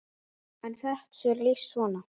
er þessu lýst svona